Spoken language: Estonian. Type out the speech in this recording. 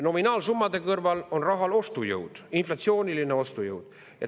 Nominaalsummade kõrval on oluline raha ostujõud, inflatsiooniline ostujõud.